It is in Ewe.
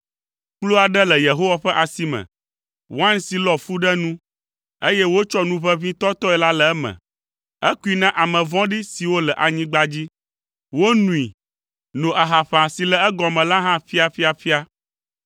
Kplu aɖe le Yehowa ƒe asi me, wain si lɔ fu ɖe nu, eye wotsɔ nu ʋeʋĩ tɔtɔe la le eme; ekui na ame vɔ̃ɖi siwo le anyigba dzi, wonoe, no ahaƒã si le egɔme la hã ƒiaƒiaƒia.